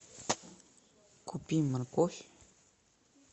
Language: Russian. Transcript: купи морковь